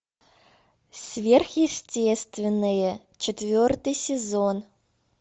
сверхъестественное четвертый сезон